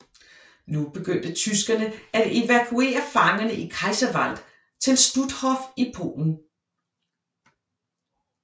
Nu begyndte tyskerne at evakuere fangerne i Kaiserwald til Stutthof i Polen